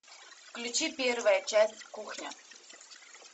включи первая часть кухня